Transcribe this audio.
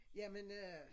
Jamen øh